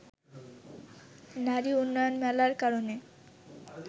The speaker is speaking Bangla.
নারী উন্নয়ন মেলার কারণে